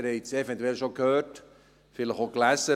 Sie haben es eventuell schon gehört, vielleicht auch gelesen: